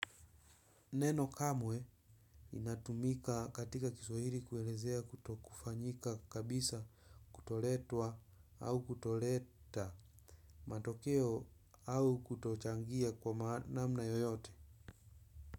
Neno kamwe, linatumika katika kiswahili kuelezea kutokufanyika kabisa, kutoletwa, au kutoleta matokeo au kutochangia kwa namna yoyote.